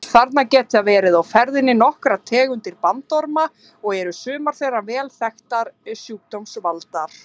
Þarna geta verið á ferðinni nokkrar tegundir bandorma og eru sumar þeirra vel þekktir sjúkdómsvaldar.